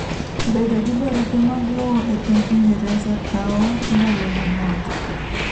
Bedo gi barupe mag lowo epiny Ingereza kao ndalo manok.